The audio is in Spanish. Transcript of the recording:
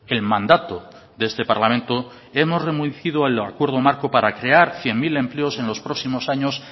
el mandato de este parlamento hemos el acuerdo marco para crear cien mil empleos en los próximos años